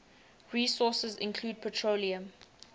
resources include petroleum